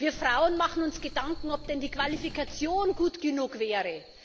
Wir Frauen machen uns Gedanken, ob denn die Qualifikation gut genug wäre.